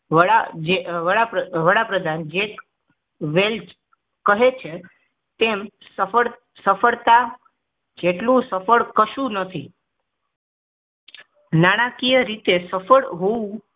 વડા જે વડાપ્રધાન જેકવેલ કહે છે તેમ સફળ સફળતા જેટલું સફળ કશું નથી નાણાકીય રીતે સફળ હોવું